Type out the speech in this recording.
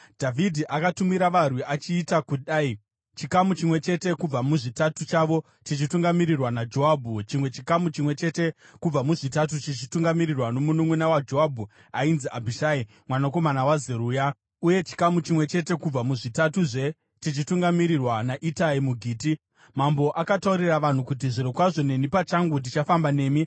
Dhavhidhi akatumira varwi achiita kudai: chikamu chimwe chete kubva muzvitatu chavo chichitungamirirwa naJoabhu, chimwe chikamu chimwe chete kubva muzvitatu chichitungamirirwa nomununʼuna waJoabhu ainzi Abhishai mwanakomana waZeruya, uye chikamu chimwe chete kubva muzvitatuzve chichitungamirirwa naItai muGiti. Mambo akataurira vanhu kuti, “Zvirokwazvo neni pachangu ndichafamba nemi.”